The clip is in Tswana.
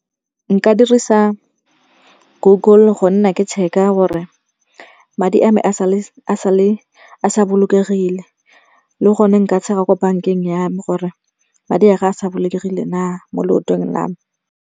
Nka dirisa Google go nna ke check-a gore madi a me a sa bolokegile. Le gone nka check-a ko bank-eng ya me gore madi a ka a sa bolokegile na mo loetong lwa me.